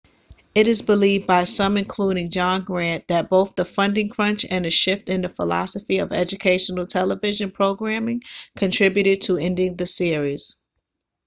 it is believed by some including john grant that both the funding crunch and a shift in the philosophy of educational television programming contributed to ending the series